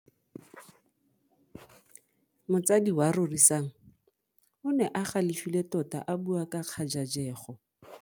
Motsadi wa Rorisang o ne a galefile tota a bua ka kgajajego.